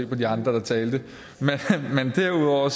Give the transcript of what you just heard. på de andre der talte derudover